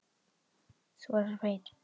Þú varst alltaf svo fín.